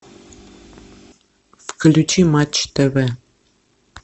включи матч тв